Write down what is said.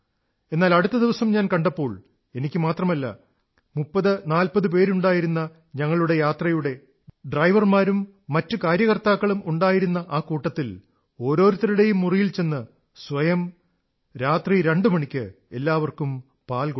എന്നാൽ അടുത്ത ദിവസം ഞാൻ കണ്ടപ്പോൾ എനിക്കു മാത്രമല്ല 3040 പേരുണ്ടായിരുന്ന ഞങ്ങളുടെ യാത്രയുടെ ഡ്രൈവർമാരും മറ്റു കാര്യകർത്താക്കളും ഉണ്ടായിരുന്ന ആ വ്യവസ്ഥയിൽ ഓരോരുത്തരുടെയും മുറിയിൽ ചെന്ന് സ്വയം രാത്രി രണ്ടു മണിക്ക് എല്ലാവർക്കും പാൽ കൊടുത്തു